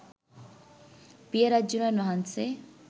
පිය රජ්ජුරුවන් වහන්සේ